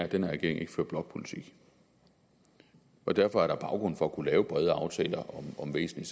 at den her regering ikke fører blokpolitik derfor er der baggrund for at kunne lave brede aftaler om væsentlige